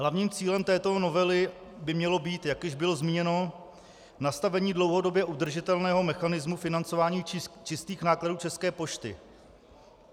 Hlavním cílem této novely by mělo být, jak již bylo zmíněno, nastavení dlouhodobě udržitelného mechanismu financování čistých nákladů České pošty.